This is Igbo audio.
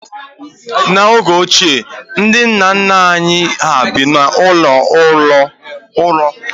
N'oge ochie, ndị nna nna anyị hà bi n'ụlọ ųrő.